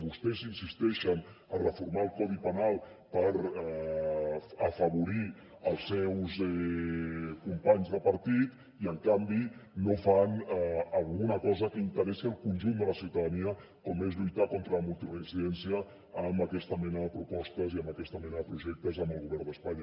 vostès insisteixen a reformar el codi penal per afavorir els seus companys de partit i en canvi no fan alguna cosa que interessi al conjunt de la ciutadania com és lluitar contra la multireincidència amb aquesta mena de propostes i amb aquesta mena de projectes amb el govern d’espanya